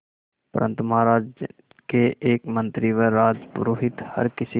परंतु महाराज के एक मंत्री व राजपुरोहित हर किसी